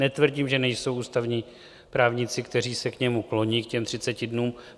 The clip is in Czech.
Netvrdím, že nejsou ústavní právníci, kteří se k němu kloní, k těm 30 dnům.